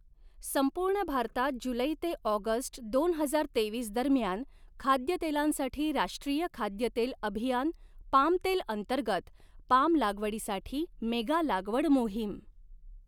संपूर्ण भारतात जुलै़ ते ऑगस्ट दोन हजार तेवीस दरम्यान खाद्यतेलांसाठी राष्ट्रीय खाद्यतेल अभियान पाम तेल अंतर्गत पाम लागवडीसाठी मेगा लागवड मोहीम